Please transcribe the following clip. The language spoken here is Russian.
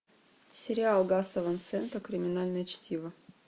сериал гаса ван сента криминальное чтиво